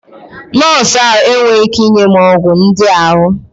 Nọọsụ ahụ enweghị ike inye m ọgwụ ndị ahụ.